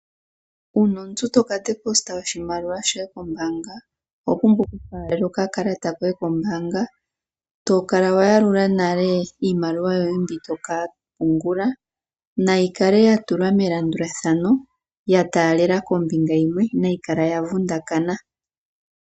Uuna omuntu to ka tsilika oshimaliwa shoye kombaanga oho pumbwa okufaalela okakalata koye kombaanga to kala wa yalula nale iimaliwa yoye mbi to ka pungula. Nayi kale ya tulwa melandulathano ya taalela kombinga yimwe inayi kala ya vundakana.